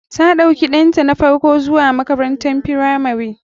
Ta ɗauki ɗanta na farko zuwa makarantar firamari.